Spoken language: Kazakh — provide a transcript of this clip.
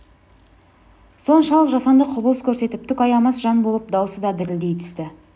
соншалық жасанды құбылыс көрсетіп түк аямас жан болып даусы да дірілдей түсті